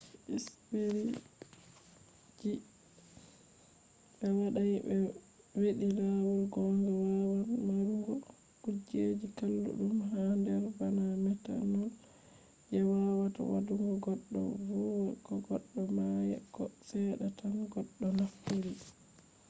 spiritji je be wadai hedi lawol gonga wawan marugo kujeji kalludum ha der bana methanol je wawata wadugo goddo vuma ko goddo maya ko sedda tan goddo naftiri